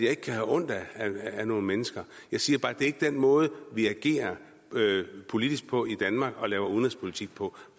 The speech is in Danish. kan have ondt af nogen mennesker jeg siger bare at det ikke er den måde vi agerer politisk på i danmark og laver udenrigspolitik på